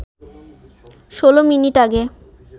১৬ minute আগে